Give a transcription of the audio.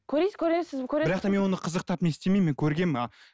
көресіз бірақ та мен оны қызықтан не істемеймін көргенмін а